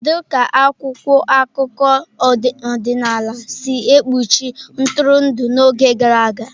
Kedu ka akwụkwọ akụkọ ọdịnala si ekpuchi ntụrụndụ n'oge gara aga?